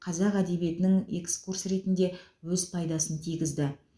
қазақ әдебиетінің экскурсы ретінде өз пайдасын тигізді